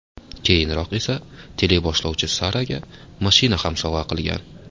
Keyinroq esa teleboshlovchi Saraga mashina ham sovg‘a qilgan.